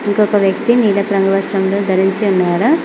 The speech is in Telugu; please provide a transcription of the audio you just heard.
ఇంకొక వ్యక్తి నీలపు రంగు వస్త్రములు ధరించి ఉన్నారు.